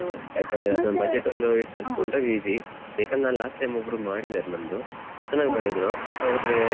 ಯಾಕಂದ್ರೆ budget ಒಂದು ವಿಚಾರಿಸ್ಕೊಂಡ್ರೆ easy ಬೇಕಾದ್ರೆ last time ಒಬ್ರು ಮಾಡಿದಾರೆ ನಮ್ದು ಚೆನ್ನಾಗಿ ಮಾಡಿದ್ರು.